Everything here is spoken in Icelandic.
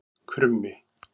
Krummi